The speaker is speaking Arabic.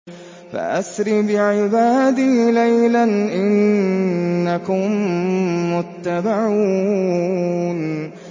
فَأَسْرِ بِعِبَادِي لَيْلًا إِنَّكُم مُّتَّبَعُونَ